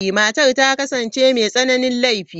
Matar ta kasance mai tsananin laifi.